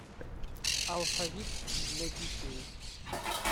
алфавит для детей